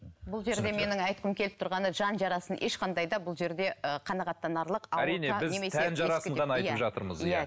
бұл жерде менің айтқым келіп тұрғаны жан жарасын ешқандай да бұл жерде ы қанағаттанарлық